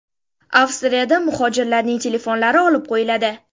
Avstriyada muhojirlarning telefonlari olib qo‘yiladi.